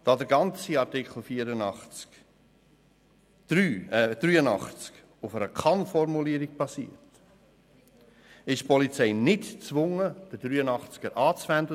Da der ganze Artikel 83 auf einer Kann-Formulierung basiert, ist die Polizei nicht gezwungen, ihn anzuwenden.